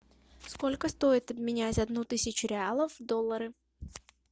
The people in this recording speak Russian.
сколько стоит обменять одну тысячу реалов в доллары